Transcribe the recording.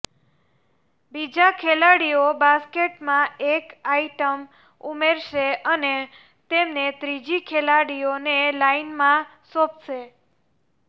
બીજા ખેલાડીઓ બાસ્કેટમાં એક આઇટમ ઉમેરશે અને તેમને ત્રીજી ખેલાડીઓને લાઇનમાં સોંપશે